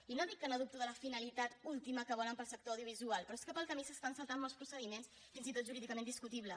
i no dic que dubti de la finalitat última que volen per al sector audiovisual però és que pel camí s’estan saltant molts procediments fins i tot jurídicament discutibles